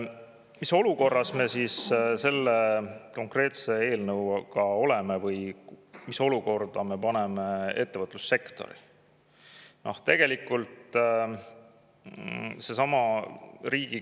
Mis olukorras me siis selle konkreetse eelnõuga oleme või mis olukorda me paneme ettevõtlussektori?